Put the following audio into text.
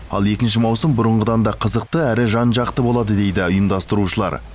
ал екінші маусым бұрынғыдан да қызықты әрі жан жақты болады дейді ұйымдастырушылар